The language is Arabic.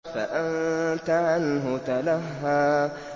فَأَنتَ عَنْهُ تَلَهَّىٰ